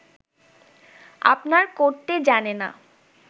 আপনার করতে জানে না